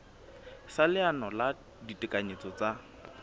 sa leano la ditekanyetso tsa